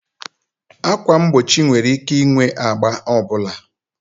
Ákwà mgbochi nwere ike ịnwe agba ọ bụla